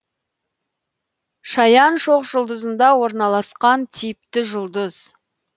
шаян шоқжұлдызында орналасқан типті жұлдыз